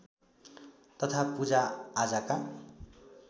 तथा पूजा आजाका